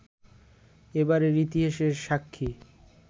এবারের ইতিহাসের সাক্ষি